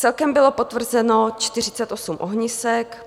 Celkem bylo potvrzeno 48 ohnisek.